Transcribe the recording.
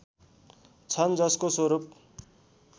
छन् जसको स्वरूप